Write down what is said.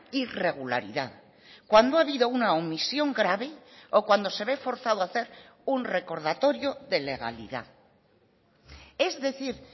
irregularidad cuando ha habido una omisión grave o cuando se ve forzado a hacer un recordatorio de legalidad es decir